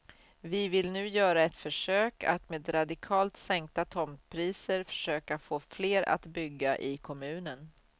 Vi vill nu göra ett försök att med radikalt sänkta tomtpriser försöka få fler att bygga i kommunen.